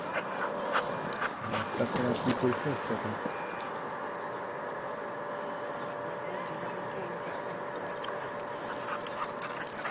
আমার তোমার department এর in course পরীক্ষা থাকবো